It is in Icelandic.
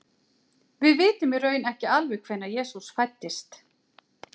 Við vitum í raun ekki alveg hvenær Jesú fæddist.